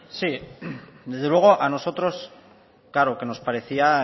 sí desde luego a nosotros claro que nos parecía